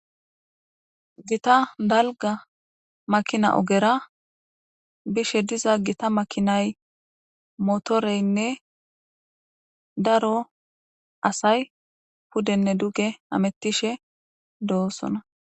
gita dalga makina ogera bishe diza gita makinay motoreynne daro asay pudenne duge amettishe doosona